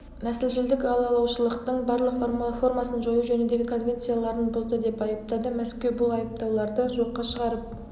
нәсілшілдік алалаушылықтың барлық формасын жою жөніндегі конвенцияларын бұзды деп айыптады мәскеу бұл айыптауларды жоққа шығарып